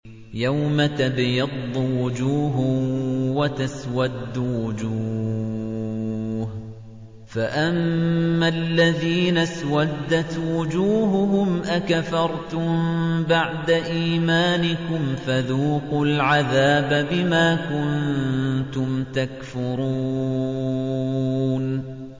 يَوْمَ تَبْيَضُّ وُجُوهٌ وَتَسْوَدُّ وُجُوهٌ ۚ فَأَمَّا الَّذِينَ اسْوَدَّتْ وُجُوهُهُمْ أَكَفَرْتُم بَعْدَ إِيمَانِكُمْ فَذُوقُوا الْعَذَابَ بِمَا كُنتُمْ تَكْفُرُونَ